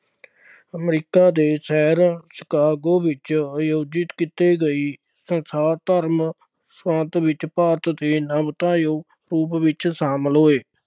America ਦੇ ਸ਼ਹਿਰ Chicago ਵਿੱਚ ਆਯੋਜਿਤ ਕੀਤੇ ਗਏ ਸੰਸਾਰ ਧਰਮ ਸੰਸਦ ਵਿੱਚ ਭਾਰਤ ਦੇ ਰੂਪ ਵਿੱਚ ਸ਼ਾਮਿਲ ਹੋਏ।